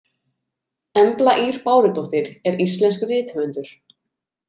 Embla Ýr Bárudóttir er íslenskur rithöfundur.